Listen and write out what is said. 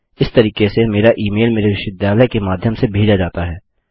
इस तरीके से मेरा ई मेल मेरे विश्वविद्यालय के माध्यम से भेजा जाता है